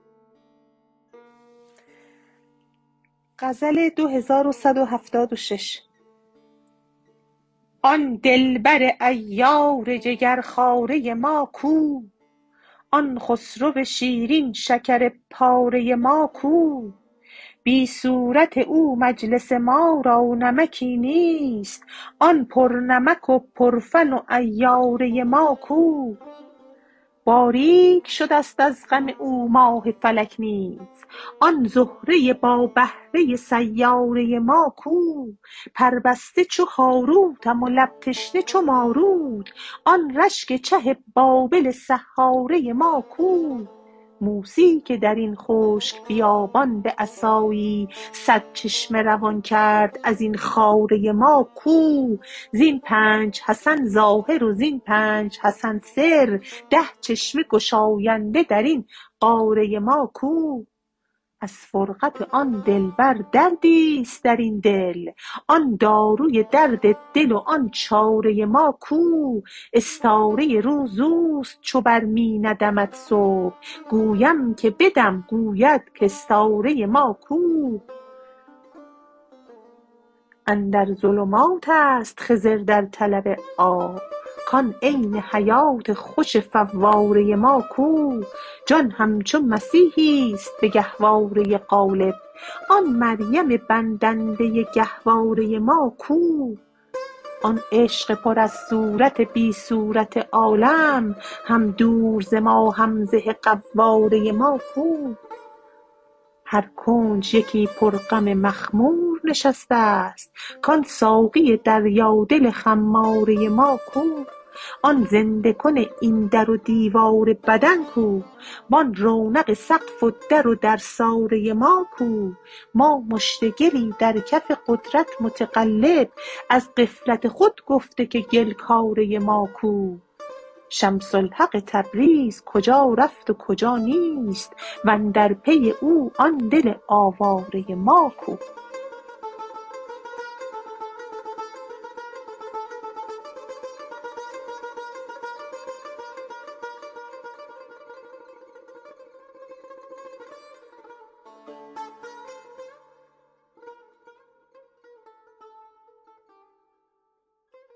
آن دلبر عیار جگرخواره ما کو آن خسرو شیرین شکرپاره ما کو بی صورت او مجلس ما را نمکی نیست آن پرنمک و پرفن و عیاره ما کو باریک شده ست از غم او ماه فلک نیز آن زهره با بهره سیاره ما کو پربسته چو هاروتم و لب تشنه چو ماروت آن رشک چه بابل سحاره ما کو موسی که در این خشک بیابان به عصایی صد چشمه روان کرد از این خاره ما کو زین پنج حسن ظاهر و زین پنج حسن سر ده چشمه گشاینده در این قاره ما کو از فرقت آن دلبر دردی است در این دل آن داروی درد دل و آن چاره ما کو استاره روز او است چو بر می ندمد صبح گویم که بدم گوید کاستاره ما کو اندر ظلمات است خضر در طلب آب کان عین حیات خوش فواره ما کو جان همچو مسیحی است به گهواره قالب آن مریم بندنده گهواره ما کو آن عشق پر از صورت بی صورت عالم هم دوز ز ما هم زه قواره ما کو هر کنج یکی پرغم مخمور نشسته ست کان ساقی دریادل خماره ما کو آن زنده کن این در و دیوار بدن کو و آن رونق سقف و در و درساره ما کو لوامه و اماره بجنگند شب و روز جنگ افکن لوامه و اماره ما کو ما مشت گلی در کف قدرت متقلب از غفلت خود گفته که گل کاره ما کو شمس الحق تبریز کجا رفت و کجا نیست و اندر پی او آن دل آواره ما کو